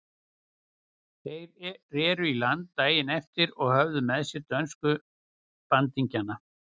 Þeir reru í land daginn eftir og höfðu með sér dönsku bandingjana.